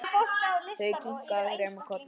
Þau kinka þremur kollum.